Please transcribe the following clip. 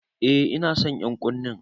Eh ina son ƴan'ƙunnen.